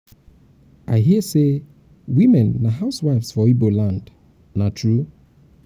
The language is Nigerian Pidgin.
i hear say women um na housewives um for igbo land. na true? um